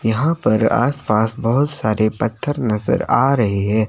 यहां पर आस पास बहोत सारे पत्थर नजर आ रहे है।